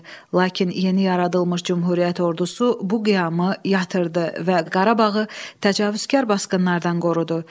Lakin yeni yaradılmış Cümhuriyyət ordusu bu qiyamı yatırdı və Qarabağı təcavüzkar basqınlardan qorudu.